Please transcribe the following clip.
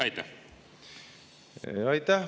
Aitäh!